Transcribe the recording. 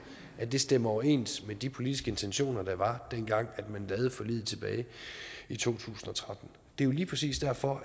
stemmer overens med de politiske intentioner der var dengang man lavede forliget tilbage i to tusind og tretten det er jo lige præcis derfor